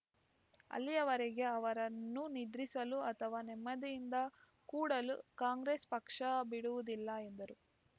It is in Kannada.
ಅಲ್ಲಿಯವರೆಗೆ ಅವರನ್ನು ನಿದ್ರಿಸಲು ಅಥವಾ ನೆಮ್ಮದಿಯಿಂದ ಕೂಡಲು ಕಾಂಗ್ರೆಸ್‌ ಪಕ್ಷ ಬಿಡುವುದಿಲ್ಲ ಎಂದರು